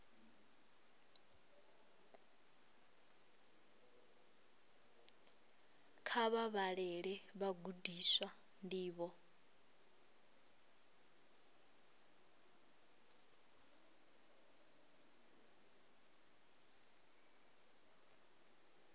kha vha vhalele vhagudiswa ndivho